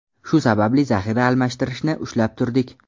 Shu sababli zaxira almashtirishni ushlab turdik.